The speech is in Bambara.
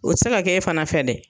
O tɛ se ka kɛ e fana fɛ dɛ.